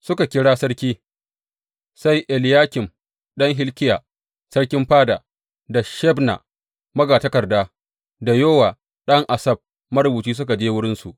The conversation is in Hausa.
Suka kira sarki, sai Eliyakim ɗan Hilkiya sarkin fada, da Shebna magatakarda, da Yowa ɗan Asaf marubuci suka je wurinsu.